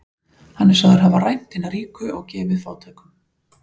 Hann er sagður hafa rænt hina ríku og gefið fátækum.